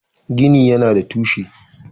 Gini yana da tushe.